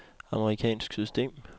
amerikansk system